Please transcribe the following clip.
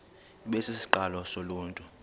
ibe sisiqalo soluntu